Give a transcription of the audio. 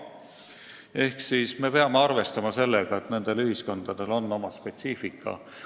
Ehk me peame arvestama sellega, et nendel ühiskondadel on oma spetsiifika.